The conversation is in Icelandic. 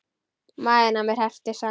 Maginn á mér herpist saman.